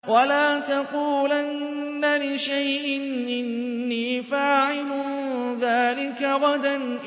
وَلَا تَقُولَنَّ لِشَيْءٍ إِنِّي فَاعِلٌ ذَٰلِكَ غَدًا